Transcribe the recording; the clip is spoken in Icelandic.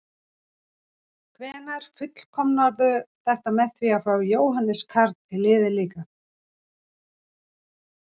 Hvenær fullkomnarðu þetta með því að fá Jóhannes Karl í liðið líka?